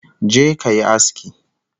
Je ka yi aski